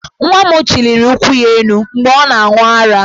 Nwa m chiliri ụkwụ ya elu, mgbe ọ na-aṅụ ara,.